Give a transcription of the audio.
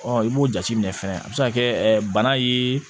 i b'o jateminɛ fɛnɛ a bɛ se ka kɛ bana ye